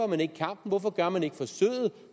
man ikke kampen hvorfor gør man ikke forsøget